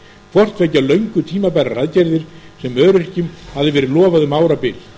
hvorttveggja löngu tímabærar aðgerðir sem öryrkjum hafði verið lofað um árabil